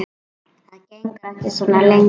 Það gengur ekki svona lengi.